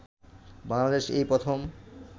বাংলাদেশে এই প্রথম